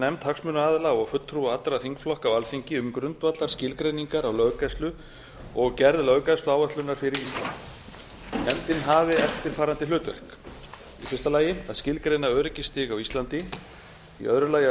nefnd hagsmunaaðila og fulltrúa allra þingflokka á alþingi um grundvallarskilgreiningar á löggæslu og gerð löggæsluáætlunar fyrir ísland nefndin hafi eftirfarandi hlutverk fyrstu að skilgreina öryggisstig á íslandi annað að